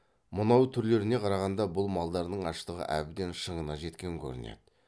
мынау түрлеріне қарағанда бұл малдардың аштығы әбден шыңына жеткен көрінеді